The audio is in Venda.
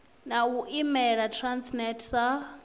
na u imela transnet sa